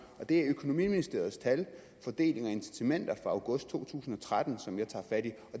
og det er økonomiministeriets tal i fordeling og incitamenter fra august to tusind og tretten som jeg tager fat